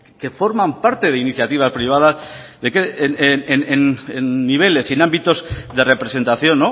que forman parte de iniciativas privadas en niveles y en ámbitos de representación